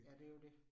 Ja, det jo det